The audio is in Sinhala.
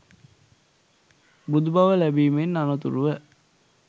බුදු බව ලැබීමෙන් අනතුරුව